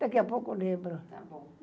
Daqui a pouco lembro. Tá bom